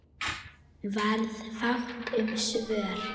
Varð fátt um svör.